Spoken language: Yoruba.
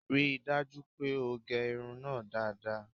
Rí i dájú pé o gẹ irun náà dáadáa